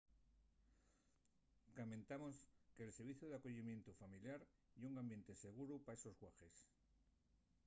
camentamos que’l serviciu d’acoyimientu familiar ye un ambiente seguru pa estos guaḥes